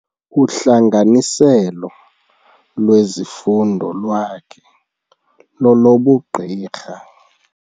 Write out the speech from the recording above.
Uhlanganiselo lwezifundo lwakhe lolobugqirha.